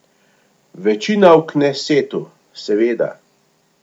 Večina v knesetu, seveda.